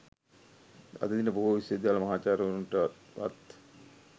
අද දින බොහෝ විශ්වවිද්‍යාල මහාචාර්යවරුන්ට වත්